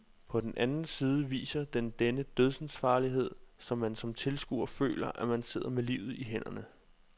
På den anden side viser den denne dødsensfarlighed, så man som tilskuer føler, at man sidder med livet i hænderne.